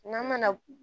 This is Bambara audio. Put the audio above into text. N'an mana